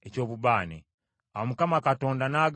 Awo Mukama Katonda n’agamba Musa nti,